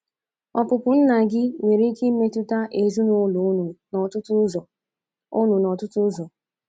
Ọpụpụ nna gị nwere ike imetụta ezinụlọ unu n’ọtụtụ ụzọ unu n’ọtụtụ ụzọ.